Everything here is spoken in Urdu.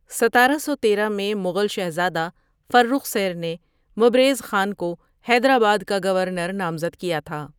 ستارہ سو تیرہ میں مغل شہزادہ فرخ سیر نے مبریز خان کو حیدراباد کا گورنر نامزد کیا تھا ۔